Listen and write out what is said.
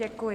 Děkuji.